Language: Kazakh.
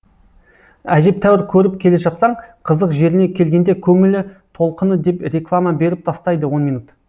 әжептәуір көріп келе жатсаң қызық жеріне келгенде көңілі толқыны деп реклама беріп тастайды он минут